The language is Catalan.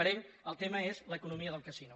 per ell el tema és l’eco·nomia del casino